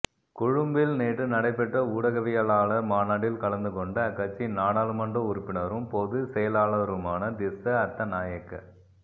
கொழும்பில் நேற்று நடைபெற்ற ஊடகவியலாளர் மாநாட்டில் கலந்துக்கொண்ட அக்கட்சியின் நாடாளுமன்ற உறுப்பினரும் பொதுச்செயலாளருமான திஸ்ஸ அத்தநாயக்க